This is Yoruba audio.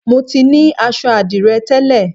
Mo ti ní aṣọ àdìrẹ tẹ́lẹ̀